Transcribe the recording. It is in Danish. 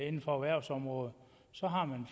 inden for erhvervsområdet så har man